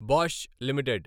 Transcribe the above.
Bosch limited